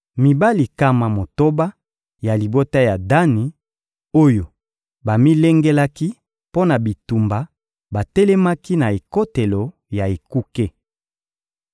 Mibali nkama motoba ya libota ya Dani, oyo bamilengelaki mpo na bitumba batelemaki na ekotelo ya ekuke.